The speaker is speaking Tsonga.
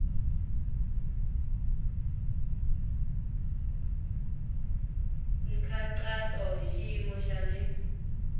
nkhaqato hi xiyimo xa le